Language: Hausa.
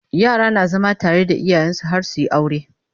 yara na zama tare da iyayensu har suyi aure